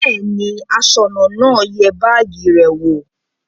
Bẹ́ẹ̀ ni, aṣọ́nà náà yẹ báágì rẹ̀ wò.